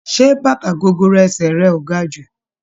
Ṣé bàtà gogoro ẹsẹ̀ rẹ ò ga jù?